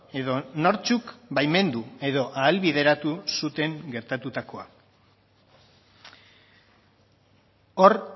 edo nortzuk baimendu edo ahalbideratu zuten gertatutakoa hor